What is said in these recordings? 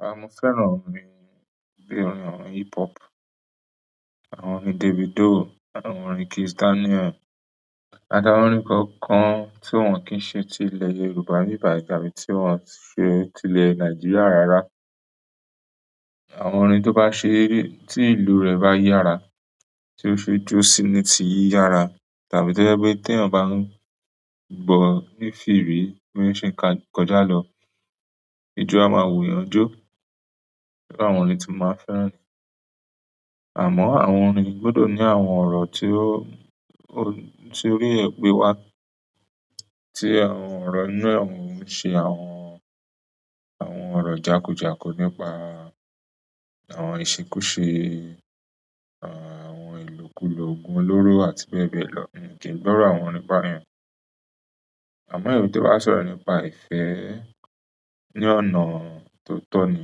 Rárá, mo fẹ́ràn orin bíi orin hip hop, àwọn orin Davido, àwọn orin Kizz Daniel. Ada orin kankan tí wọ́n kì í ṣe ti ilẹ̀ Yorùbá ní ìbà ìjà, bí tí wọ́n ṣe ti ilẹ̀ Nàìjíríà rárá. Àwọn orin tó bá ṣe, tí ìlú rẹ̀ bá yára, tí ó ṣe jó síi ní ti yiyára, tàbí to jẹ pe t'eyan bá ń gbọ́ ní firi, bí ó ṣe ń ka kọjá lọ, ijó a máa wuyàn jó. Sé báwọn orin tí mo máa fẹ́ràn ni. Amọ àwọn orin gbọdọ ni tí àwọn ọ̀rọ̀ inú ẹ ṣe àwọn, àwọn ọ̀rọ̀ jákújáku nípa àwọn ìṣekúṣe, àwọn ìlòkulò ogun olóró àti bẹ́ẹ̀ bẹ́ẹ̀ lọ mii kì n gbọ́ iru àwọn orin báyìí. Àmọ́ èyí tí ó bá sọ̀rọ̀ nípa ìfẹ́ ní ọ̀nà tó tọ́ ní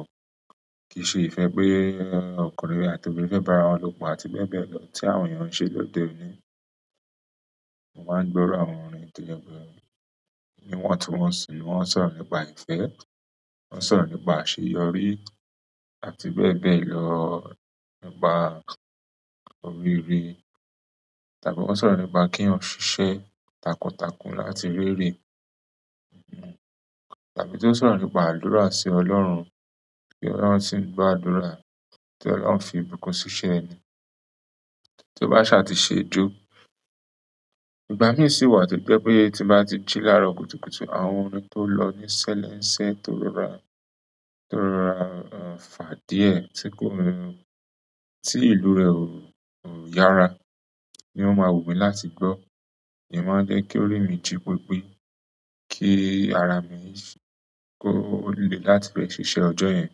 o. Kì í ṣe ìfẹ́ pé ọkùnrin rí àti obìnrin fẹ́ bá ara wọn lopọ̀ àti bẹ́ẹ̀ bẹ́ẹ̀ lọ tí àwọn èèyàn ń ṣe lóde òní. Mo máa ń gbọ́ iru àwọn orin tí ẹ́ bí ẹ́, níwọn tun wọ́n sì wọn sọ̀rọ̀ nípa ìfẹ́, wọ́n ń sọ̀rọ̀ nípa àṣeyọrí àti bẹ́ẹ̀ bẹ́ẹ̀ lọ nípa oríire. Tàbí wọ́n ń sọ̀rọ̀ nípa kí ẹ́ ń ṣiṣẹ́ takuntakun láti rere. Tàbí tí ó ń sọ̀rọ̀ nípa àdúrà sí Ọlọ́run, bí Ọlọ́run ṣe ń gbọ́ àdúrà, tí Ọlọ́run fi ìbùkún ṣiṣẹ́ ẹni, tí ó bá ṣà ti ṣe jó. Ìgbà mí sì wà to jẹ pe tin bá ti jí l'arọ kùtùkùtù, àwọn orin tó lọ ní sẹ́lẹ́nsẹ́, tó rọra, tó rọra fà díẹ̀ tí kò rẹ́, tí ìlú rẹ̀ ò yára ni ó máa wù mí láti gbọ́. Iyẹn máa jẹ́ kí orí mi jí pípé. Kí ara mi yí, kó le láti lè ṣiṣẹ́ ọjọ́ yẹn.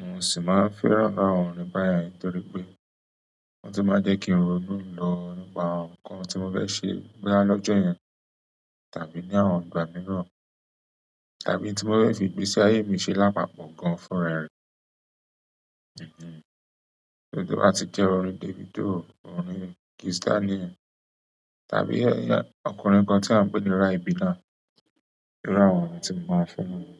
Mo sì máa fẹ́ràn bá àwọn orin báyìí nítorí pé wọ́n sì máa jẹ́ kí n ro inú lọ nípa ohun kan tí mo fẹ́ ṣe bọya l'ọjọ yẹn, tàbí ní àwọn ìgbà mìíràn, tàbí tí mo fẹ́ fi ìgbésí ayé mi ṣe lápapọ̀ gan fúnra rẹ. So to ba ti jẹ orin Davido, orin Kizz Daniel tàbí ọkùnrin kan ti a n pe ni Rybeena. Iru àwọn orin ti mo maa n fẹ niyẹn.